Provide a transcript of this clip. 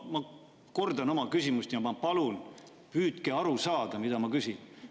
Ma kordan oma küsimust ja ma palun, püüdke aru saada, mida ma küsisin.